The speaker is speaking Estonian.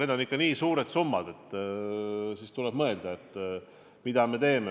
Need on ikka nii suured summad, et tuleb mõelda, mida me sellisel juhul teeme.